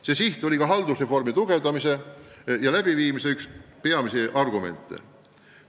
See siht oli ka üks haldusreformi läbiviimise peamisi argumente.